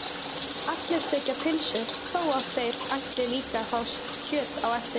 Allir þiggja pylsu þó að þeir ætli líka að fá kjöt á eftir.